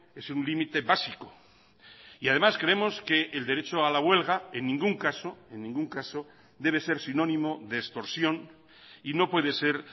es un límite básico y además creemos que el derecho a la huelga en ningún caso en ningún caso debe ser sinónimo de extorsión y no puede ser